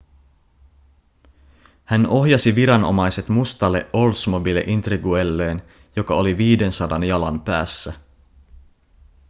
hän ohjasi viranomaiset mustalle oldsmobile intriguelleen joka oli 500 jalan päässä